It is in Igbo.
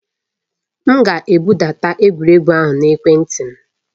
M ga-ebudata egwuregwu ahụ na ekwentị m.